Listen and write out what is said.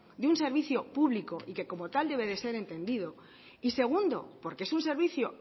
de un servicio público y que como tal debe ser entendido y segundo porque es un servicio